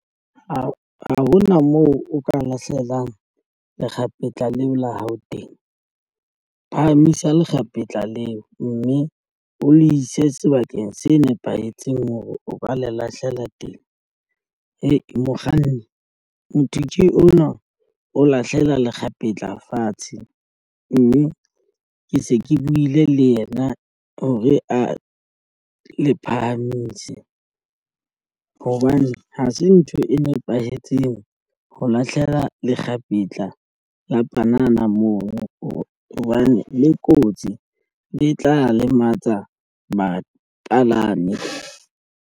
Ha hona moo o ka lahlelang lekgapetla leo la hao teng. Phahamisa lekgapetla leo, mme o le ise sebakeng se nepahetseng hore o ka le lahlela teng. Hee mokganni motho ke ona o lahlela lekgapetla fatshe mme ke se ke buile le yena hore a le phahamise hobane ha se ntho e nepahetseng ho lahlela lekgapetla la banana moo ho hobane le kotsi le tla lematsa bapalami.